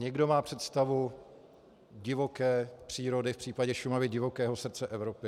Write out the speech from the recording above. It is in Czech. Někdo má představu divoké přírody, v případě Šumavy divokého srdce Evropy.